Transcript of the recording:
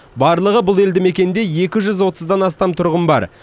барлығы бұл елді мекенде екі жүз отыздан астам тұрғын бар